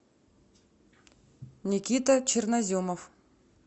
никита черноземов